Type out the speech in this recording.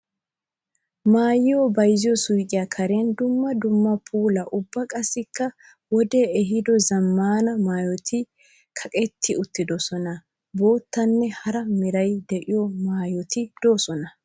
Maayuwa bayzziyo suyqqiya karen dumma dumma puula ubba qassikka wode ehiido zamaana maayotti kaqqetti uttidosonna. Boottanne hara meray de'iyo maayotti de'osonna.